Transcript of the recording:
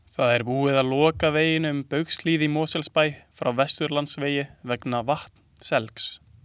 Það er búið að loka veginum um Baugshlíð í Mosfellsbæ frá Vesturlandsvegi vegna vatnselgs.